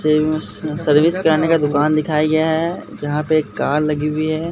Service कराने का दुकान दिखाया गया है यहां पे एक कार लगी हुई है।